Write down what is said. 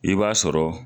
I b'a sɔrɔ